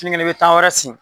kelen i bɛ tan wɛrɛ sen.